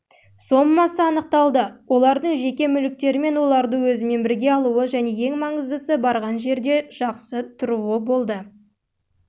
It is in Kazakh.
сомасы анықталды олардың жеке мүліктері мен оларды өзімен бірге алуы және ең маңыздысы барған жерде